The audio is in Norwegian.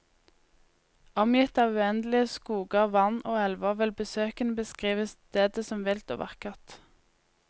Omgitt av uendelige skoger, vann og elver vil besøkende beskrive stedet som vilt og vakkert.